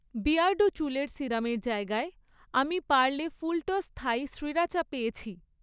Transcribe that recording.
Beardo চুলের সিরামের জায়গায়, আমি পার্লে ফুলটস্ থাই শ্রীরাচা পেয়েছি